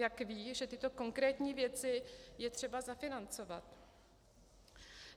Jak ví, že tyto konkrétní věci je třeba zafinancovat?